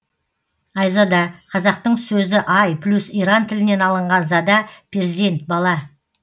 айзада қазақтың сөзі ай плюс иран тілінен алынған зада перзент бала